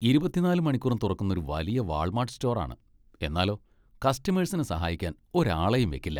ഇരുപത്തിനാല് മണിക്കൂറും തുറക്കുന്ന ഒരു വലിയ വാൾമാർട്ട് സ്റ്റോർ ആണ്, എന്നാലോ, കസ്റ്റമേഴ്സിനെ സഹായിക്കാൻ ഒരാളെയും വെക്കില്ല.